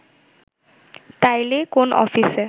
তাইলে কোন অফিসে